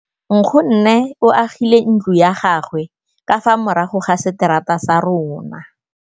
Nkgonne o agile ntlo ya gagwe ka fa morago ga seterata sa rona.